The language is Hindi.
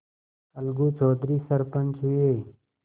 अलगू चौधरी सरपंच हुए